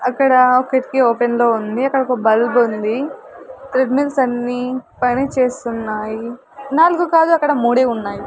అక్కడా కిటికీ ఓపెన్ లో ఉంది అక్కడ ఒక బల్బ్ ఉంది అన్నీ పని చేస్తున్నాయి నాలుగు కాదు అక్కడ మూడే ఉన్నాయి.